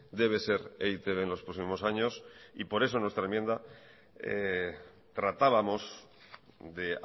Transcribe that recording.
debe ser e i te be en los próximos años y por eso en nuestra enmienda tratábamos de